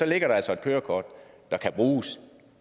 ligger der altså et kørekort der kan bruges